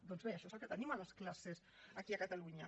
doncs bé això és el que tenim a les classes aquí a catalunya